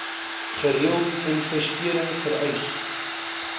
gereelde investering vereis